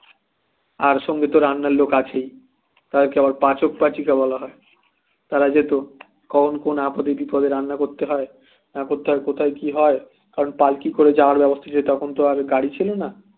আর সঙ্গে তো রান্নার লোক আছেই তাদের আবার পাচক পাচিকা বলা হয় তারা যেত কখন কোন আপদে বিপদে রান্না করতে হয় না করতে হয় কথায় কি হয় কারণ পালকি করে যাওয়ার ব্যবস্থা ছিল তখন তো আর গাড়ি ছিল না